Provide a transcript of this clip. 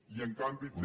i en canvi té